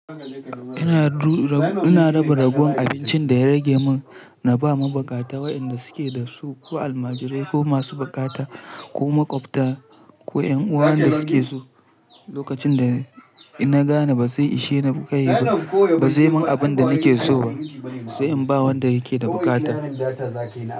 Ina raba ragon abincin da ya rage mun na bama baƙata wa'inda suke da su, ko almajirai ko masu baƙata ko maƙwabta ko 'yan'uwa wa'inda suke so. Lokacin da ina gane ba zai ishe na kai ba, ba zai mun abin da nake so ba sai in ba wanda yake da baƙata.